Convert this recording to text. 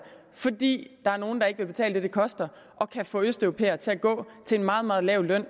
fordi der er nogle der ikke vil betale det det koster og kan få østeuropæere til at gå til en meget meget lav løn